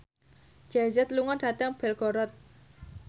Jay Z lunga dhateng Belgorod